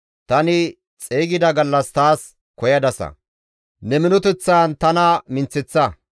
Tani xeygida gallas taas koyadasa; ne minoteththan tana minththeththa.